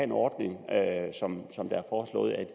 en ordning som